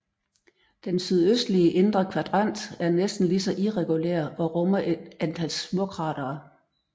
Den sydøstlige indre kvadrant er næsten lige så irregulær og rummer et antal småkratere